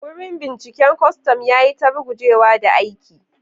Wurin binciken kwastam ya yi ta rugujewa da aiki.